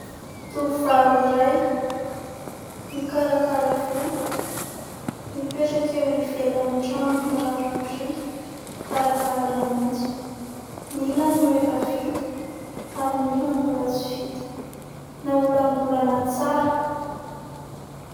Tovovavy iray mikarakara volo, mipetraka eo ivelan'ny trano mirary biriky varavarana maitso. Ny ilany no efa vita ary ny ilany mbola tsy vita, naolangolana tsara.